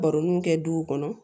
Baroniw kɛ duw kɔnɔ